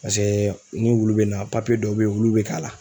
ni wulu bɛ na dɔw bɛ ye ulu bɛ k'a la.